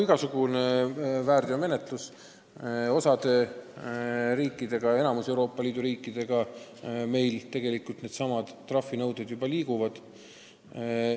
Igasuguse väärteomenetluse puhul meil suhetes osa riikidega, sh enamiku Euroopa Liidu riikidega trahvinõuded juba liiguvad.